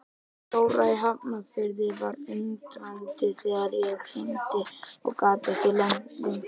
Dóra í Hafnarfirði var undrandi þegar ég hringdi og gat ekki leynt því.